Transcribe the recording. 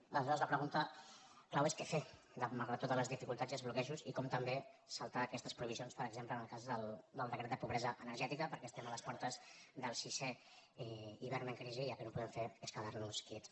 aleshores la pregunta clau és què fer malgrat totes les dificultats i els bloquejos i com també saltar aquestes prohibicions per exemple en el cas del decret de pobresa energètica perquè estem a les portes del sisè hivern en crisi i el que no podem fer és quedar nos quiets